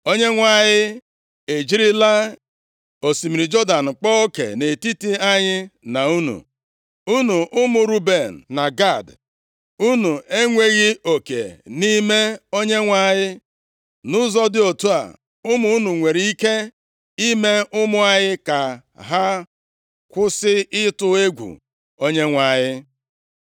Onyenwe anyị e jirila osimiri Jọdan kpaa oke nʼetiti anyị na unu, unu ụmụ Ruben na Gad. Unu enweghị oke nʼime Onyenwe anyị!’ Nʼụzọ dị otu a, ụmụ unu nwere ike ime ụmụ anyị ka ha kwụsị ịtụ egwu Onyenwe anyị.